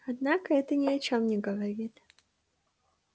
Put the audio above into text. однако это ни о чем не говорит